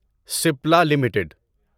SPLA limited